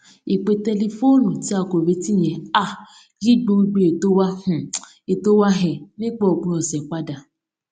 ìpè tẹlifóònù tí a kò retí yẹn um yí gbogbo ètò wa um ètò wa um nípa òpin òsè padà